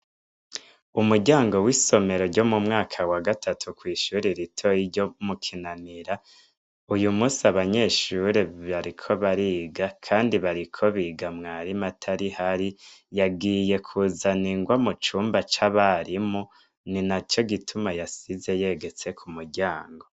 Umuryango w'isomero ryo mu mwaka wa gatatu kw'ishuri ritoye ryo mu kinanira uyu musi abanyeshuri bariko bariga, kandi bariko biga mwarimu atari ho ari yagiye kuzana ingwa mu cumba c'abarimu ni na co gituma yasize yegetse ku muryango.